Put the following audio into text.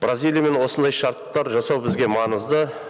бразилиямен осындай шарттар жасау бізге маңызды